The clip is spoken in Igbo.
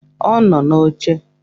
Ọ nọ n'oche